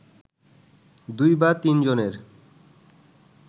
দুই বা তিনজনের